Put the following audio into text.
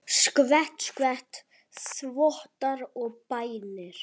Skvett, skvett, þvottar og bænir.